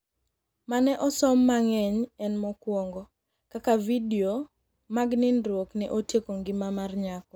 mane osom mangeny en mokuongo ,Kaka vidio mag nindruok ne otieko ngima mar nyako